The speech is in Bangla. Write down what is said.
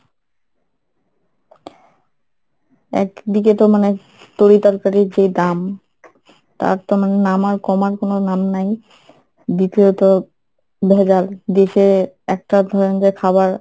একদিকে তো মানে তরি তরকারির যেই দাম তার তো মানে নামার কমার কোনো নাম নাই, দ্বিতীয়ত ভেজাল, দেশে একটা ধরেন যে খাবার